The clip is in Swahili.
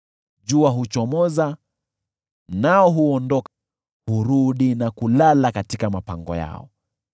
Jua huchomoza, nao huondoka, hurudi na kulala katika mapango yao.